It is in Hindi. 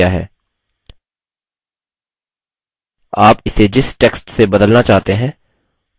आप इसे जिस text से बदलना चाहते हैं उसे replace with field में लिखें